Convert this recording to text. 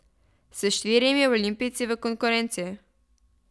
S štirimi olimpijci v konkurenci.